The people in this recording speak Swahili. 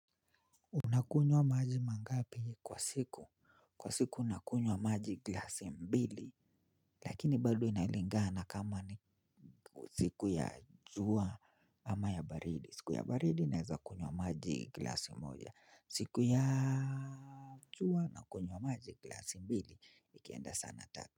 Unakunywa maji mangapi kwa siku? Kwa siku nakunywa maji glasi mbili. Lakini bado inalingana kama ni siku ya jua ama ya baridi. Sku ya baridi naeza kunywa maji glasi moja. Siku ya jua na kunywa maji glasi mbili. Ikienda sana tatu.